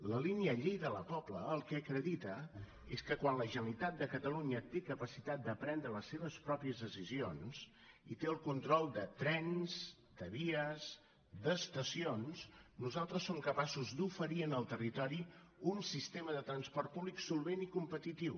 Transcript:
la línia lleida la pobla el que acredita és que quan la generalitat de catalunya té capacitat de prendre les seves pròpies decisions i té el control de trens de vies d’estacions nosaltres som capaços d’oferir en el territori un sistema de transport públic solvent i competitiu